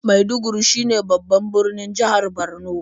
Maiduguri shine babban birnin jihar Borno.